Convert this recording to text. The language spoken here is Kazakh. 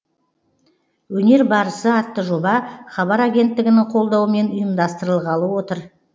өнер барысы атты жоба хабар агенттігінің қолдауымен ұйымдастырылғалы отыр